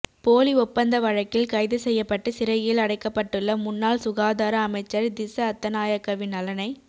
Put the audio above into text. போலி ஒப்பந்த வழக்கில் கைது செய்யப்பட்டு சிறையில் அடைக்கப்பட்டுள்ள முன்னாள் சுகாதார அமைச்சர் திஸ்ஸ அத்தநாயக்கவின் நலனை